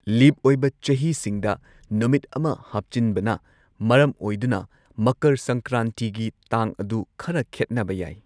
ꯂꯤꯞ ꯑꯣꯏꯕ ꯆꯍꯤꯁꯤꯡꯗ ꯅꯨꯃꯤꯠ ꯑꯃ ꯍꯥꯞꯆꯤꯟꯕꯅ ꯃꯔꯝ ꯑꯣꯏꯗꯨꯅ, ꯃꯀꯔ ꯁꯪꯀ꯭ꯔꯥꯟꯇꯤꯒꯤ ꯇꯥꯡ ꯑꯗꯨ ꯈꯔ ꯈꯦꯠꯅꯕ ꯌꯥꯏ꯫